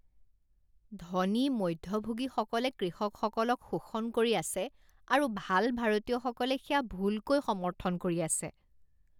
ধনী মধ্যভোগীসকলে কৃষকসকলক শোষণ কৰি আছে আৰু ভাল ভাৰতীয়সকলে সেয়া ভুলকৈ সমৰ্থন কৰি আছে।